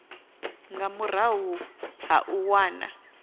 nga murahu ha u wana